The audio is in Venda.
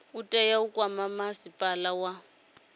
tea u kwama masipala wa